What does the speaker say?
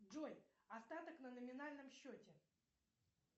джой остаток на номинальном счете